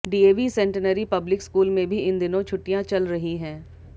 DAV centenary public school में भी इन दिनों छुट्टियां चल रही हैं